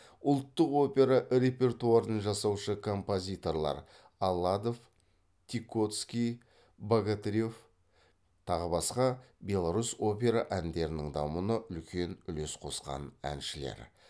ұлттық опера репертуарын жасаушы композиторлар аладов тикоцкий богатырев тағы басқа беларусь опера әндерінің дамуына үлкен үлес қосқан әншілер